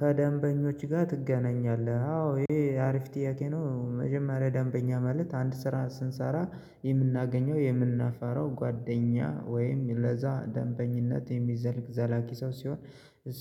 ከደንበኞች ጋር ትገናኛለህ? አዎ ይሄ አሪፍ ጥያቄ ነው መጀመሪያ ደንበኛ ማለት አንድ ስራ ስንሰራ የምናገኘው የምናፋረው ጓደኛ ወይም ለዛ ደንበኝነት የሚዘልቅ ዘላቂ ሰው ሲሆን